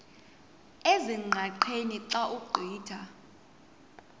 ezingqaqeni xa ugqitha